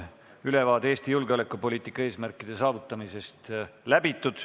Ülevaade Eesti julgeolekupoliitika eesmärkide saavutamisest on käsitletud.